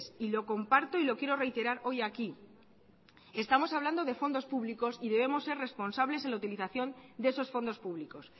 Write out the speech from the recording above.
y lo comparto y lo quiero reiterar hoy aquí estamos hablando de fondos públicos y debemos ser responsables en la utilización de esos fondos públicos